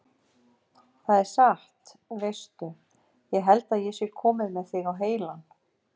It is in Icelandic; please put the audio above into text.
Það er satt. veistu. ég held að ég sé kominn með þig á heilann!